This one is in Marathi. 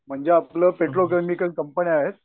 म्हणजे आपलं पेट्रो केमिकल कंपन्या आहेत.